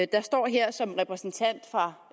der står her som repræsentant for